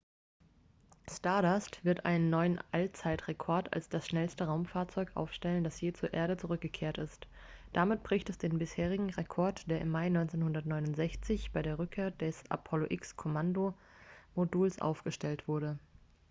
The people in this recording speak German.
stardust wird einen neuen allzeitrekord als das schnellste raumfahrzeug aufstellen das je zur erde zurückgekehrt ist damit bricht es den bisherigen rekord der im mai 1969 bei der rückkehr des apollo x-kommandomoduls aufgestellt wurde